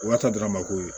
U b'a to dɔrɔn a ma ko ye